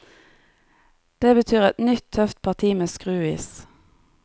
Det betyr et nytt, tøft parti med skruis.